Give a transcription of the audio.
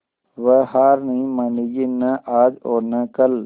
वह हार नहीं मानेगी न आज और न कल